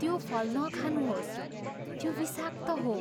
त्यो फल नखानुहोस्। त्यो विषाक्त हो।